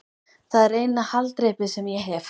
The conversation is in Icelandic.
Það er eina haldreipið sem ég hef.